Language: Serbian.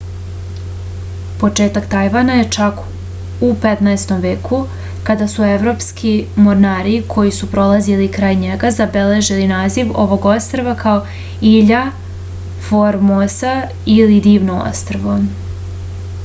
početak tajvana je čak u 15. veku kada su evropski mornari koji su prolazili kraj njega zabeležili naziv ovog ostrva kao ilja formosa ili divno ostrvo